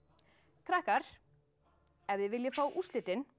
krakkar ef þið viljið fá úrslitin